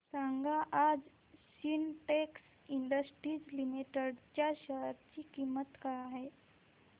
सांगा आज Sintex industries limited च्या शेअर ची किंमत काय आहे